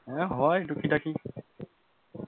হ্যাঁ হয় টুকি টাকি,